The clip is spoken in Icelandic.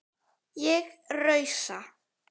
Ég rausa.